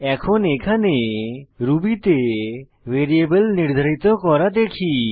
এখন এখানে রুবি তে ভ্যারিয়েবল নির্ধারিত করা দেখি